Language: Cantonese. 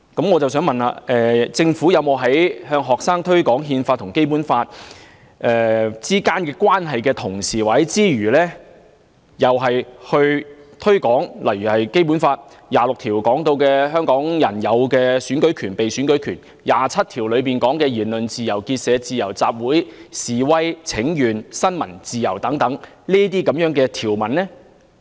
我想問局長，政府向學生推廣《憲法》和《基本法》之間的關係時，有否同時推廣例如《基本法》第二十六條提到香港人擁有的選舉權和被選舉權，以及第二十七條提到的言論自由、結社自由、集會、示威和新聞自由等條文？